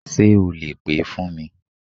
Sé o lè pè é fún mi